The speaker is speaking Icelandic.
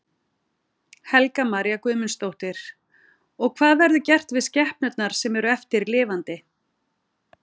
Helga María Guðmundsdóttir: Og hvað verður gert við skepnurnar sem eru eftir lifandi?